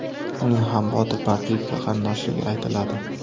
Uning ham Botir Parpiyevga qarindoshligi aytiladi.